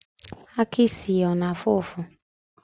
Aka ịsị ya ọ na afụ ụfụ?